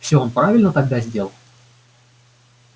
всё он правильно тогда сделал